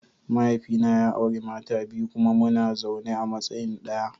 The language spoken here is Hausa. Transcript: Mahaifina ya auri mata biyu kuma muna zaune a matsayin daya.